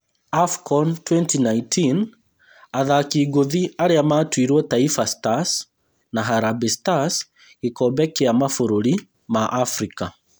Afcon 2019: athaki ngũthi arĩa matuirwo Taifa Stars na Harambee Stars gĩkombe kĩa mabũrũri ma Afrika